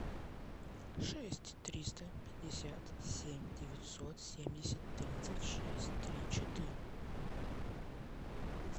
шесть триста пятьдесят семь девятьсот семьдесят тридцать шесть три четыре